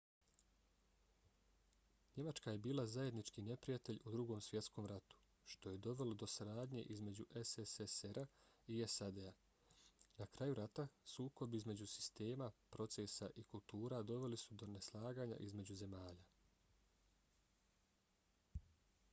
njemačka je bila zajednički neprijatelj u drugom svjetskom ratu što je dovelo do saradnje između sssr-a i sad-a. na kraju rata sukobi između sistema procesa i kultura doveli su do neslaganja između zemalja